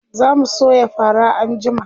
zamu soya fara anjima